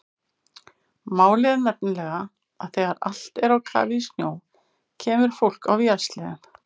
Málið er nefnilega að þegar allt er á kafi í snjó kemur fólk á vélsleðum.